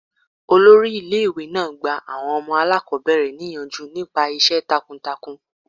Olórí ilé ìwé náà gba àwọn ọmọ aláàkọ́bẹ̀rẹ̀ níyànjú nípa iṣẹ́ takun takun.